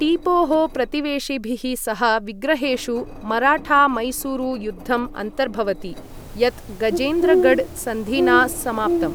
टीपोः प्रतिवेशिभिः सह विग्रहेषु मराठा मैसूरु युद्धम् अन्तर्भवति, यत् गजेन्द्रगढ सन्धिना समाप्तम्।